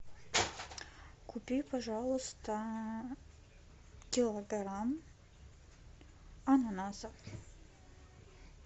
купи пожалуйста килограмм ананасов